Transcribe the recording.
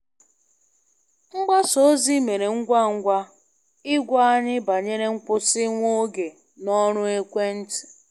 Mgbasa ozi mere ngwa ngwa ịgwa anyị banyere nkwụsị nwa oge na ọrụ ekwentị.